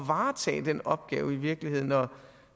varetage den opgave i virkeligheden og